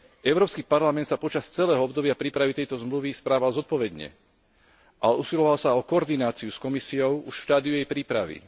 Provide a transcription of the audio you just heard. Európsky parlament sa počas celého obdobia prípravy tejto zmluvy správal zodpovedne a usiloval sa o koordináciu s Komisiou už v štádiu jej prípravy.